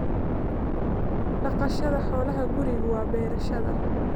Dhaqashada xoolaha gurigu waa beerashada